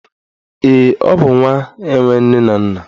Ee, ọ bụ nwa enwe nne na nna